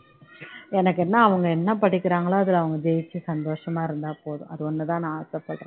எனக்கு என்ன அவங்க என்ன படிக்கிறாங்களோ அதுல அவங்க ஜெயிச்சு சந்தோஷமா இருந்தா போதும் அது ஒண்ணு தான் நான் ஆசைப்படுறேன்